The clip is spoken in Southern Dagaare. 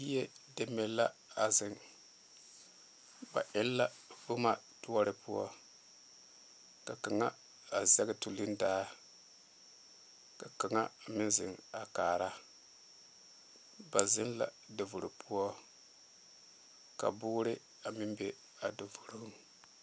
yie deme la a zeŋe ba eŋ la boma ture poɔ ka kaŋa a zeŋ tulee daa ka kaŋ meŋ zeŋe a kaare ba zeŋ la davooroŋ poɔ ka boore meŋ be a davooroŋ.